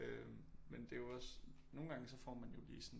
Øh men det er jo også nogle gange så får man jo også lige sådan